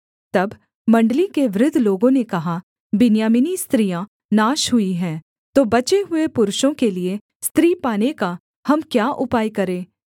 तब मण्डली के वृद्ध लोगों ने कहा बिन्यामीनी स्त्रियाँ नाश हुई हैं तो बचे हुए पुरुषों के लिये स्त्री पाने का हम क्या उपाय करें